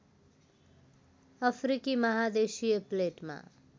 अफ्रिकी महादेशीय प्लेटमा